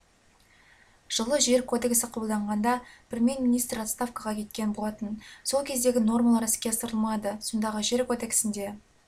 жылы жер кодексі қабылданғанда премьер-министр отставкага кеткен болатын сол кездегі нормалар іске асырылмады сондағы жер кодексінде